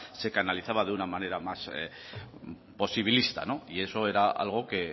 se canalizaba de una manera más posibilista y eso era algo que